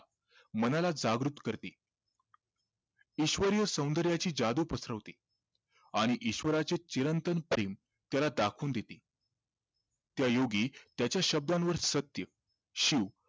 मनाला जागृत करते ईश्वरी सौंदर्याची जादू पसरवते आणि ईश्वराचे चिरंतन प्रेम त्याला दाखवून देते त्या योगी त्याच्या शब्दांवर सत्य शिव